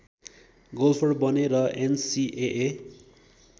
golfer बने र NCAA